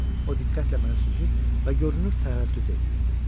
O diqqətlə mənə süzür və görünür tərəddüd eləyirdi.